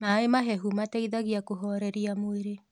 Mae mahehũ mateĩthagĩa kũhorerĩa mwĩrĩ